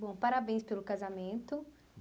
Bom, parabéns pelo casamento.